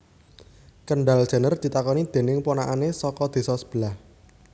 Kendall Jenner ditakoni dening ponakane saka desa sebelah